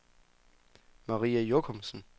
Maria Jochumsen